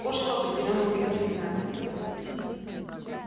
кошку определённо убили заклинанием